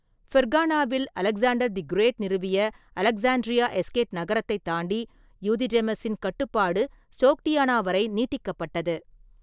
ஃபெர்கானாவில் Alexander the Great நிறுவிய Alexandria Eschate நகரத்தைத் தாண்டி யூதிடெமஸின் கட்டுப்பாடு சோக்டியானா வரை நீட்டிக்கப்பட்டது.